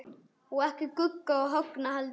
Og ekki Gugga og Högna heldur.